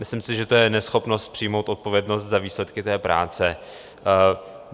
Myslím si, že to je neschopnost přijmout odpovědnost za výsledky té práce.